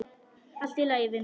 Allt í lagi, vinur.